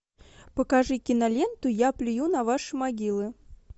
покажи киноленту я плюю на ваши могилы